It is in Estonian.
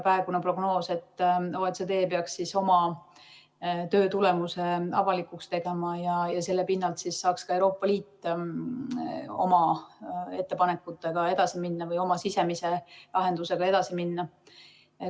Praegune prognoos on, et OECD peaks siis oma töö tulemuse avalikuks tegema ja selle pinnalt saaks ka Euroopa Liit oma ettepanekutega või oma sisemise lahendusega edasi minna.